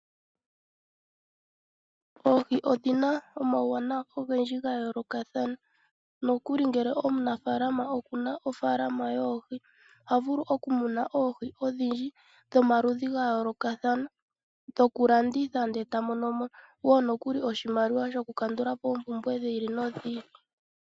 Oohi odhina omauwanawa ogendji ga yoolokathana, uunene ngele omunafalama okuna ofalama yoohi, oha vulu oku muna oohi dhomaludhi ga yoolokathana, dhoku landitha ta monomo wo oshimaliwa shoku kandulapi oompumbwe dhiili no dhiili.